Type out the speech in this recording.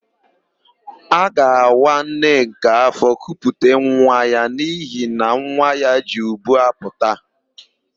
A ga-awa Nneka áfọ̀ kuputa nwa ya n'ihi na nwa ya ji ubu apụta.